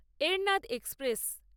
Ernad express